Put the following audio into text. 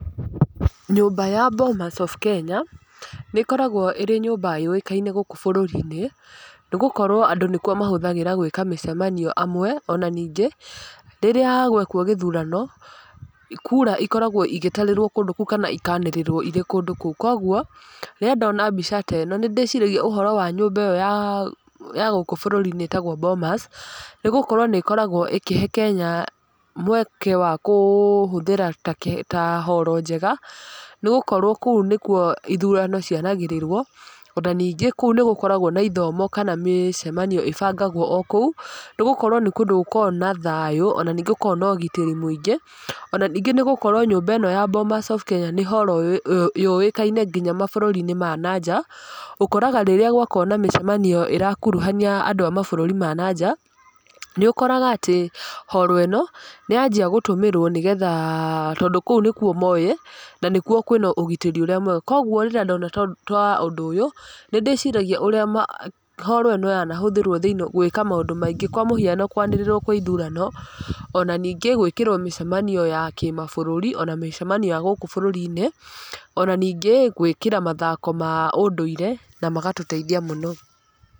Nyũmba ya Bomas of Kenya, nĩ ĩkoragwo ĩrĩ nyũmba yũĩkaine gũkũ bũrũri-inĩ, nĩ gũkorwo andũ nĩ kuo mahũthagĩra gwĩka mĩcemanio amwe. Ona ningĩ, rĩrĩa gwekwo gĩthurano, kura ikoragwo igĩtarĩrwo kũndũ kũu kana ikanĩrĩrwo irĩ kũndũ kũu. Koguo, rĩrĩa ndona mbica ta ĩno, nĩ ndĩciragia ũhoro wa nyũmba ya ya gũkũ bũrũri-inĩ ĩtagwo Bomas, nĩ gũkorwo nĩ ĩkoragwo ĩkĩhe Kenya mweke wa kũhũthĩra ta ta horo njega, nĩ gũkorwo kũo nĩ kuo ithurano cianagĩrĩrwo. Ona ningĩ kũu nĩ gũkoragwo na ithomo kana mĩcemanio ĩbangagwo o kũu, nĩ gũkorwo nĩ kũndũ gũkoragwo na thayũ, ona ningĩ gũkoragwo na ũgitĩri mũingĩ. Ona ningĩ nĩ gũkorwo nyũmba ĩno ya Bomas of Kenya nĩ horo yũĩkaine nginya mabũrũri-inĩ ma na nja. Ũkoraga rĩrĩa gwakorwo na mĩcemanio ĩrakuruhania andũ a mabũrũri ma na nja, nĩ ũkoraga atĩ, horo ĩno, nĩ yanjia gũtũmĩrwo nĩgetha tondũ kũu nĩ kuo moĩ, na nĩ kuo kwĩna ũgitĩri ũrĩa mwega. Koguo rĩrĩa ndona ta ũndũ ũyũ, nĩ ndĩciragia ũrĩa horo ĩno yanahũthĩrwo thĩiniĩ gwĩka maũndũ maingĩ. Kwa mũhiano kũanĩrĩrwo kwa ithurano, ona ningĩ gwĩkĩrwo mĩcemanio ya kĩmabũrũri, ona mĩcemanio ya gũkũ bũrũri-inĩ, ona ningĩ gwĩkĩra mathako ma ũndũire, na magatũteithia mũno.